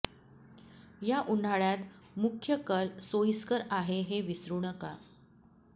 या उन्हाळ्यात मुख्य कल सोयिस्कर आहे हे विसरू नका